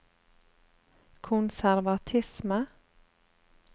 konservatisme